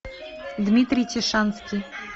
дмитрий тишанский